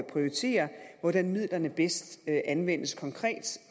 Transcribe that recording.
prioritere hvordan midlerne bedst anvendes konkret